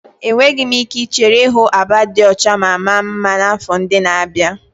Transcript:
Enweghị m ike ichere ịhụ Aba dị ọcha ma mara mma n'afọ ndị na-abịa.